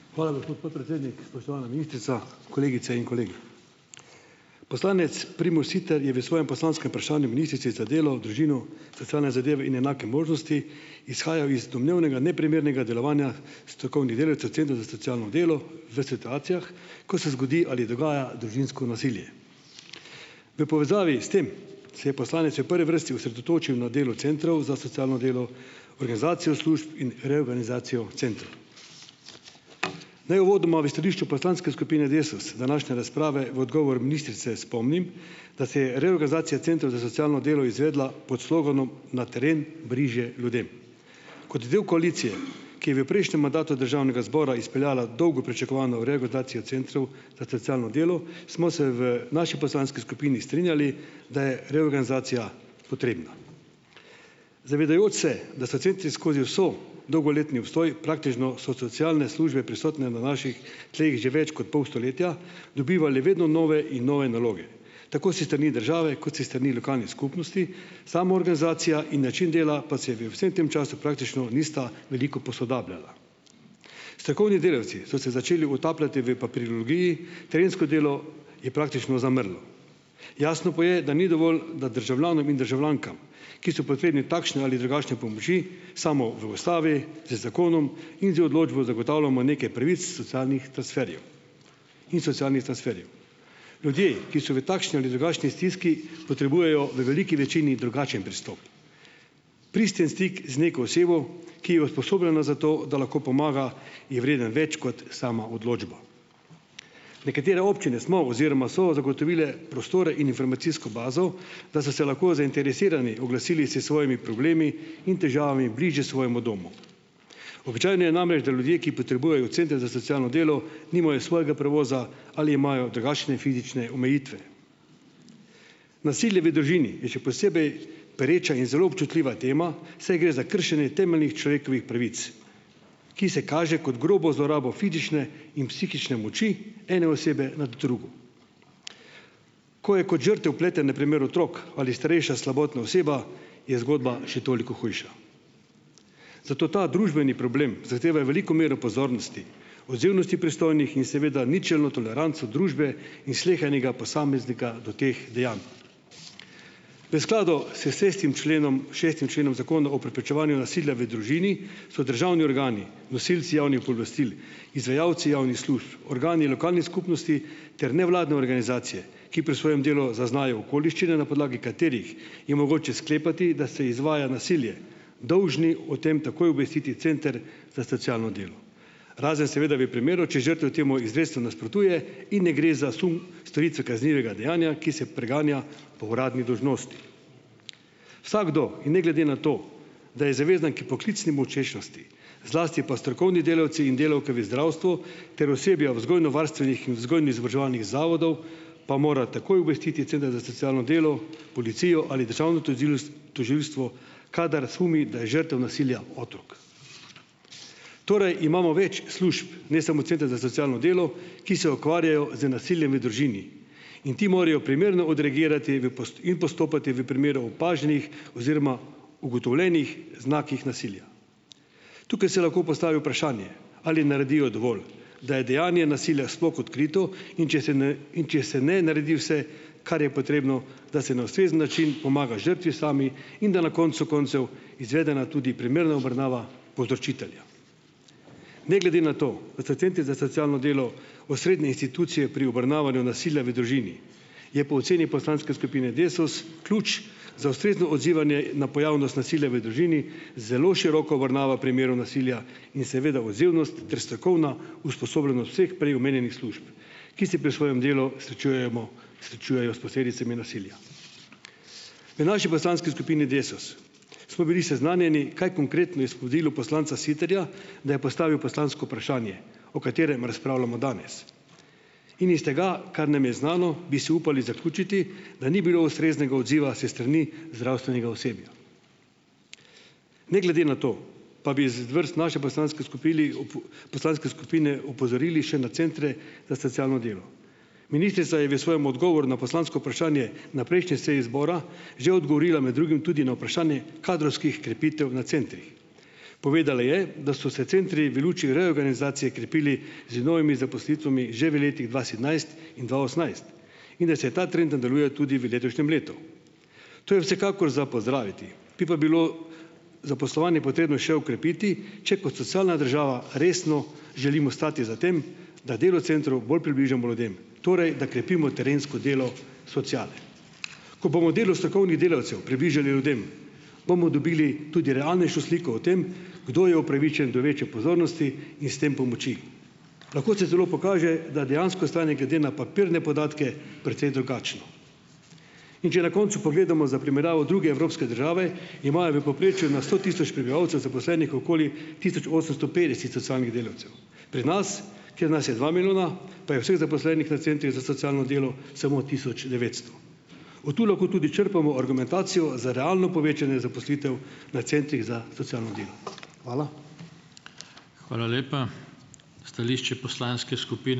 Hvala, gospod podpredsednik. Spoštovana ministrica, kolegice in kolegi! Poslanec Primož Siter je v svojem poslanskem vprašanju ministrici za delo, družino, socialne zadeve in enake možnosti izhajal iz domnevnega neprimernega delovanja strokovnih delavcev centra za socialno delo v situacijah, ko se zgodi ali dogaja družinsko nasilje. V povezavi s tem se je poslanec v prvi vrsti osredotočil na delo centrov za socialno delo, organizacijo služb in reorganizacijo centrov. Naj uvodoma v stališču poslanske skupine Desus današnje razprave v odgovoru ministrice spomnim, da se je reorganizacija centrov za socialno delo izvedla pod sloganom "na teren bližje ljudem". Kot del koalicije, ki je v prejšnjem mandatu državnega zbora izpeljala dolgo pričakovano reorganizacijo centrov za socialno delo smo se v naši poslanski skupini strinjali, da je reorganizacija potrebna. Zavedajoč se, da so centri skozi ves dolgoletni obstoj, praktično so socialne službe prisotne na naših tleh že več kot pol stoletja, dobivali vedno nove in nove naloge tako s strani države kot s strani lokalnih skupnosti, sama organizacija in način dela pa se v vsem tem času praktično nista veliko posodabljala. Strokovni delavci so se začeli utapljati v papirologiji, terensko delo je praktično zamrlo. Jasno pa je, da ni dovolj, da državljanom in državljankam, ki so potrebni takšne ali drugačne pomoči, samo v ustavi, z zakonom in z odločbo zagotavljamo nekaj pravic socialnih transferjev in socialnih transferjev. Ljudje, ki so v takšni ali drugačni stiski, potrebujejo v veliki večini drugačen pristop. Pristen stik z neko osebo, ki je usposobljena za to, da lahko pomaga, je vreden več kot sama odločba. Nekatere občine smo oziroma so zagotovile prostore in informacijsko bazo, da so se lahko zainteresirani oglasili se svojimi problemi in težavami bližje svojemu domu. Običajno je namreč, da ljudje, ki potrebujejo centre za socialno delo, nimajo svojega prevoza ali imajo drugačne fizične omejitve. Nasilje v družini je še posebej pereča in zelo občutljiva tema, saj gre za kršenje temeljnih človekovih pravic, ki se kaže kot grobo zlorabo fizične in psihične moči ene osebe nad drugo. Ko je kot žrtev vpleten na primer otrok ali starejša slabotna oseba, je zgodba še toliko hujša. Zato ta družbeni problem zahteva veliko mero pozornosti, odzivnosti pristojnih in seveda ničelno toleranco družbe in slehernega posameznika do teh dejanj. V skladu s sestim členom, šestim členom Zakona o preprečevanju nasilja v družini so državni organi nosilci javnih pooblastil, izvajalci javnih služb, organi lokalnih skupnosti ter nevladne organizacije, ki pri svojem delu zaznajo okoliščine, na podlagi katerih je mogoče sklepati, da se izvaja nasilje, dolžni o tem takoj obvestiti center za socialno delo, razen seveda v primeru, če žrtev temu izrecno nasprotuje in ne gre za sum storitve kaznivega dejanja, ki se preganja po uradni dolžnosti. Vsakdo in ne glede na to, da je zavezan k poklicni molčečnosti, zlasti pa strokovni delavci in delavke v zdravstvu ter osebja v vzgojno-varstvenih in vzgojno-izobraževalnih zavodov, pa mora takoj obvestiti center za socialno delo, policijo ali državno tožilstvo kadar sumi, da je žrtev nasilja otrok. Torej, imamo več služb, ne samo centra za socialno delo, ki se ukvarjajo z nasiljem v družini in ti morajo primerno odreagirati v in postopati v primeru opaženih oziroma ugotovljenih znakih nasilja. Tukaj se lahko postavi vprašanje, ali naredijo dovolj, da je dejanje nasilja sploh odkrito, in če se ne, in če se ne naredi vse, kar je potrebno, da se na ustrezen način pomaga žrtvi sami in da je na koncu koncev izvedena tudi primerna obravnava povzročitelja. Ne glede na to, pa so centri za socialno delo osrednje institucije pri obravnavanju nasilja v družini, je po oceni poslanske skupine Desus ključ za ustrezno odzivanje na pojavnost nasilja v družini zelo široka obravnava primerov nasilja in seveda odzivnost ter strokovna usposobljenost vseh prej omenjenih služb, ki se pri svojem delu srečujemo, srečujejo s posledicami nasilja. V naši poslanski skupini Desus smo bili seznanjeni, kaj konkretno je vodilo poslanca Siterja, da je postavil poslansko vprašanje, o katerem razpravljamo danes. In iz tega, kar nam je znano, bi si upali zaključiti, da ni bilo ustreznega odziva s strani zdravstvenega osebja. Ne glede na to, pa bi iz vrst naše poslanske skupili poslanske skupine opozorili še na centre za socialno delo. Ministrica je v svojem odgovoru na poslansko vprašanje na prejšnji seji zbora že odgovorila med drugim tudi na vprašanje kadrovskih krepitev na centrih. Povedala je, da so se centri v luči reorganizacije krepili z novimi zaposlitvami že v letih dva sedemnajst in dva osemnajst in da se ta trend nadaljuje tudi v letošnjem letu. To je vsekakor za pozdraviti. Bi pa bilo zaposlovanje potrebno še okrepiti, če kot socialna država resno želimo stati za tem, da delo v centru bolj približamo ljudem, torej da krepimo terensko delo sociale. Ko bomo delo strokovnih delavcev približali ljudem, bomo dobili tudi realnejšo sliko o tem, kdo je upravičen do večje pozornosti in s tem pomoči. Lahko se celo pokaže, da je dejansko stanje glede na papirne podatke precej drugačno. In če na koncu pogledamo za primerjavo druge evropske države, imajo v povprečju na sto tisoč prebivalcev zaposlenih okoli tisoč osemsto petdeset socialnih delavcev. Pri nas, kjer nas je dva milijona, pa je vseh zaposlenih na centrih za socialno delo samo tisoč devetsto. Od tu lahko tudi črpamo argumentacijo za realno povečanje zaposlitev na centrih za socialno delo. Hvala.